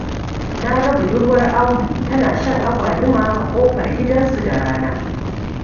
Na ga budurwar Audu tana shan agwaluma a ƙofar gidansu da rana.